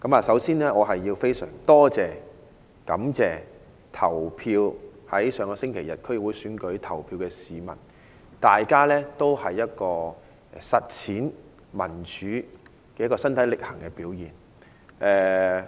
首先，我非常感謝在上周日區議會選舉投票的市民，這是實踐民主身體力行的表現。